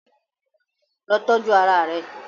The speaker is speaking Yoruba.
Lọ tọju ara rẹ!